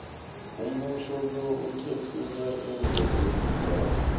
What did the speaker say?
umboniso lo uthetjulwe iimveke ezintathu